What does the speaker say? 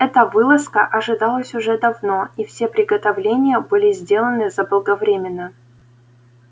эта вылазка ожидалась уже давно и все приготовления были сделаны заблаговременно